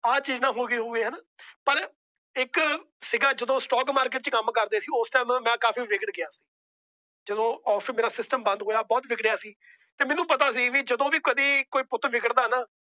ਆ ਚੀਜ਼ ਨਾ ਹੋ ਗਈ ਹੋਵੇ। ਪਰ ਇੱਕ ਸੀ ਗਾ Stock Markeet ਚ ਜਦੋ ਕੰਮ ਕਰਦੇ ਸੀ। ਉਸ Time ਮੈ ਕਾਫੀ ਵਿੱਘੜ ਗਿਆ। ਜਦੋ Office ਮੇਰਾ ਬੰਦ ਹੋਇਆ ਬਹੁਤ ਵਿੱਘੜੀਆਂ ਸੀ। ਤੇ ਮੈਨੂੰ ਪਤਾ ਸੀ ਜਦੋ ਵੀ ਕਦੇ ਕੋਈ ਪੁੱਤ ਵਿੱਘੜ ਦਾ ਨਾ